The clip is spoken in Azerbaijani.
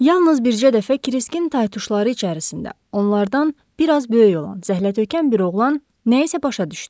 Yalnız bircə dəfə Kriskin taytuşları içərisində onlardan bir az böyük olan zəhlətökən bir oğlan nəyisə başa düşdü.